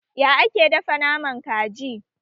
Ya ake dafa naman kaji?